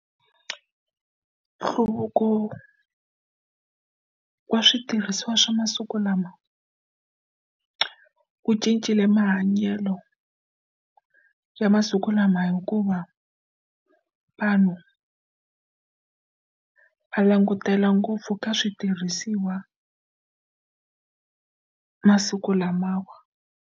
Nhluvuko wa switirhisiwa swa masiku lama ku cincile mahanyelo ya siku lama hikuva vanhu a langutela ngopfu ka switirhisiwa masiku lamawa.